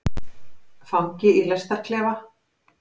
Fangi í lestarklefa.